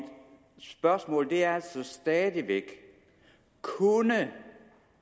spørgsmål er stadig væk kunne